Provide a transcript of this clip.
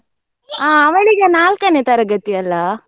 bgSpeach ಆ ಅವಳೀಗ ನಾಲ್ಕನೇ ತರಗತಿ ಅಲ್ಲ?